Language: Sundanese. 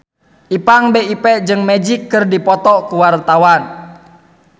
Ipank BIP jeung Magic keur dipoto ku wartawan